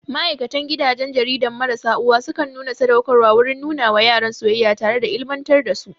Ma'aikan gidajen jariran marasa uwa sukan nuna sadaukarwa wurin nuna wa yaran soyayya tare da ilimantar da su